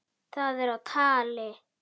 Það er á tali.